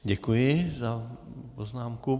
Děkuji za poznámku.